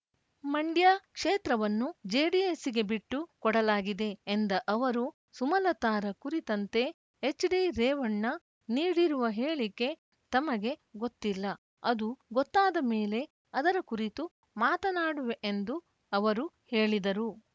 ಮಂಡ್ಯ ಕ್ಷೇತ್ರವನ್ನು ಜೆಡಿಎಸ್‌ಗೆ ಬಿಟ್ಟು ಕೊಡಲಾಗಿದೆ ಎಂದ ಅವರು ಸುಮಲತಾರ ಕುರಿತಂತೆ ಎಚ್ಡಿ ರೇವಣ್ಣ ನೀಡಿರುವ ಹೇಳಿಕೆ ತಮಗೆ ಗೊತ್ತಿಲ್ಲ ಅದು ಗೊತ್ತಾದ ಮೇಲೆ ಅದರ ಕುರಿತು ಮಾತನಾಡುವೆಎಂದು ಅವರು ಹೇಳಿದರು